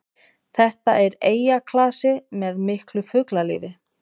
Þetta er eyjaklasi með miklu fuglalífi